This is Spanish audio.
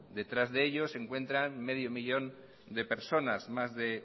detrás de ello se encuentra medio millón de personas más de